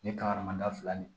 Ni kaharamada fila ni